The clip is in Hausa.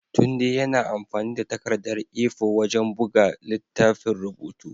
Tunde yana amfani da takardar A4 wajen buga littafin rubutu.